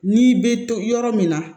N'i bɛ to yɔrɔ min na